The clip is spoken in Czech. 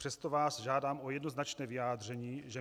Přesto vás žádám o jednoznačné vyjádření, že